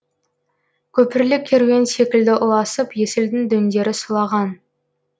көпірлі керуен секілді ұласып есілдің дөңдері сұлаған